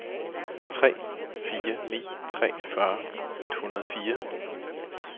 tre fire ni tre fyrre et hundrede og fire